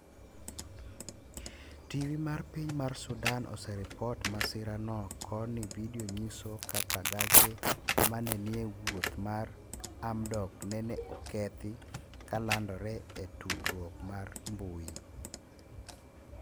Tv mar piny mar sudan oseripot masira no koni video nyiso kaka gache. mane nie wouth mar hamdok nene okethi kalandore e tudruok mar mbui